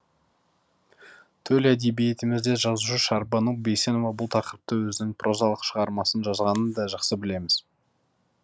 төл әдебиетімізде жазушы шәрбану бейсенова бұл тақырыпта өзінің прозалық шығармасын жазғанын да жақсы білеміз